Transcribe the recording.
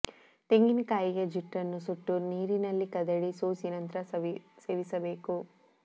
ತೆಂಗಿನ ಕಾಯಿಯ ಜುಟ್ಟನ್ನು ಸುಟ್ಟು ನೀರಿನಲ್ಲಿ ಕದಡಿ ಸೋಸಿ ನಂತ್ರ ಸೇವಿಸಬೇಕು